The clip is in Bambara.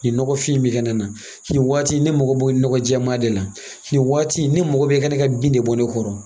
Nin nɔgɔfin mikɛn nana ni waati ne mago b'o ɲɔgɔnjɛmaa de la, ni waati ne mago bɛ i ka ne ka bin de bɔ ne kɔrɔ.